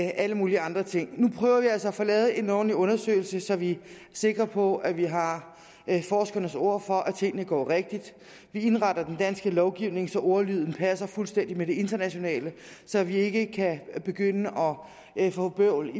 alle mulige andre ting nu prøver vi altså at få lavet en ordentlig undersøgelse så vi er sikre på at vi har forskernes ord for at tingene går rigtigt vi indretter den danske lovgivning så ordlyden passer fuldstændigt med det internationale så vi ikke begynder at få bøvl